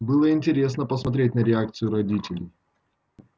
было интересно посмотреть на реакцию родителей